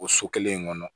O so kelen in kɔnɔ